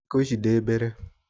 Thĩkũ ici ndĩ mbere